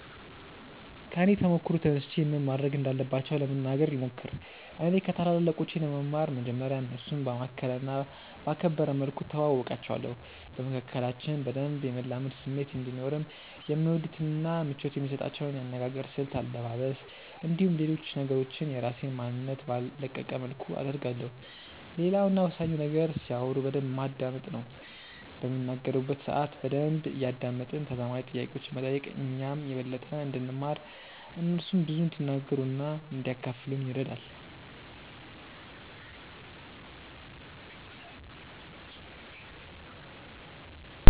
ከኔ ተሞክሮ ተነስቼ ምን ማድረግ እንዳለባቸው ለመናገር ልሞክር። እኔ ከታላላቆቼ ለመማር መጀመርያ እነርሱን ባማከለ እና ባከበረ መልኩ እተዋወቃቸዋለሁ። በመካከላችን በደንብ የመላመድ ስሜት እንዲኖርም የሚወዱትን እና ምቾት የሚሰጣቸውን የአነጋገር ስልት፣ አለባበስ፣ እንዲሁም ሌሎች ነገሮችን የራሴን ማንነት ባልለቀቀ መልኩ አደርጋለሁ። ሌላው እና ወሳኙ ነገር ሲያወሩ በደንብ ማዳመጥ ነው። በሚናገሩበት ሰአት በደንብ እያደመጥን ተዛማጅ ጥያቄዎችን መጠየቅ እኛም የበለጠ እንድንማር እነርሱም ብዙ እንዲናገሩ እና እንዲያካፍሉን ይረዳል።